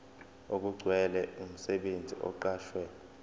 okugcwele umsebenzi oqashwe